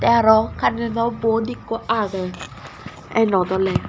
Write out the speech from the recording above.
tey aro carento bot ekko agey iynot oley.